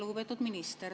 Lugupeetud minister!